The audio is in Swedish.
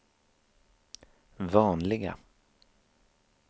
vanliga